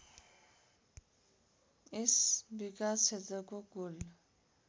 यस विकासक्षेत्रको कुल